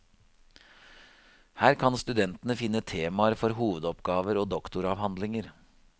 Her kan studentene finne temaer for hovedoppgaver og doktoravhandlinger.